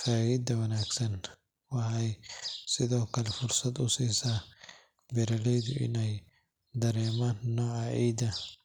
Faagidda wanaagsan waxay sidoo kale fursad u siisaa beeraleyda in ay dareemaan nooca ciidda,